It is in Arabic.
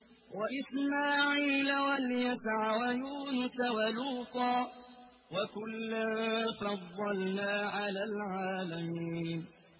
وَإِسْمَاعِيلَ وَالْيَسَعَ وَيُونُسَ وَلُوطًا ۚ وَكُلًّا فَضَّلْنَا عَلَى الْعَالَمِينَ